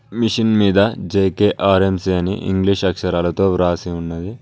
Machine మీద JKRMC అని English అక్షరాలతో వ్రాసి ఉన్నది.